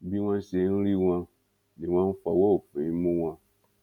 bí wọn ṣe ń rí wọn ni wọn ń fọwọ òfin mú wọn